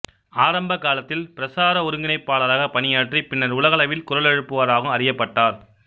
ஆரம்ப காலத்தில் பிரசார ஒருங்கிணைப்பாளராகப் பணியாற்றி பின்னர் உலகளவில் குரலெழுப்புவராகவும் அறியப்பட்டார்